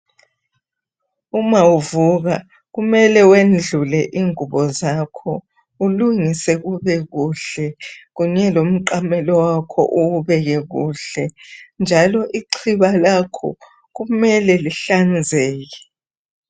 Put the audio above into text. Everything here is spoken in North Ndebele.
Uma uvuka kumele wendlule ingubo zakho ulungise kube kuhle kunye lomqamelo wakho uwubeke kuhle njalo ixhiba lakho kumele lihlanzeke.